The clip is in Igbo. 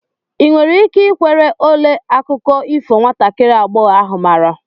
ị nwere ike ikwere ole akụkọ ifo nwatakiri agbọghọ ahụ maara?